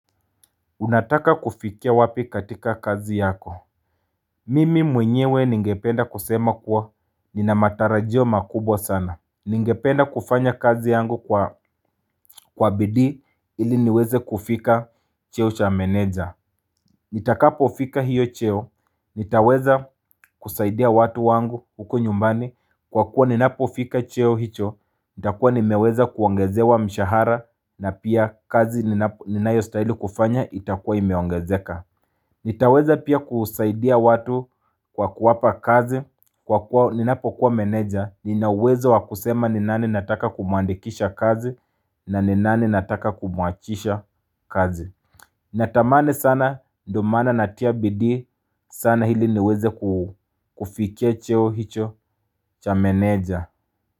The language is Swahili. Unataka kufikia wapi katika kazi yako Mimi mwenyewe ningependa kusema kuwa nina matarajio makubwa sana Ningependa kufanya kazi yangu kwa bidii ili niweze kufika cheo cha meneja Nitakapofika hiyo cheo nitaweza kusaidia watu wangu huko nyumbani kwa kuwa ninapofika cheo hicho nitakuwa nimeweza kuongezewa mshahara na pia kazi ninayo stahili kufanya itakuwa imeongezeka nitaweza pia kusaidia watu kwa kuwapa kazi kwa kuwa ninapo kuwa meneja nina uwezo wa kusema ni nani nataka kumuandikisha kazi na ni nani nataka kumuachisha kazi Natamani sana ndio maana natia bidii sana ili niweze kufikia cheo hicho cha meneja.